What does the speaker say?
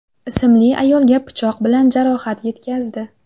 ismli ayolga pichoq bilan jarohat yetkazdi.